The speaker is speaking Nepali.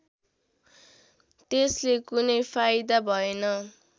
त्यसले कुनै फाइदा भएन